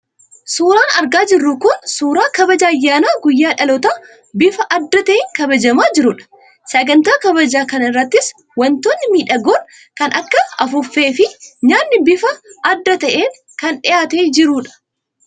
Suuraan argaa jirru kun suuraa kabaja ayyaana guyyaa dhalootaa bifa adda ta'een kabajamaa jirudha. Sagantaa kabajaa kana irrattis wantoonni miidhagoon kan akka afuuffee fi nyaanni bifa adda ta'een kan dhiyaatee jirudha.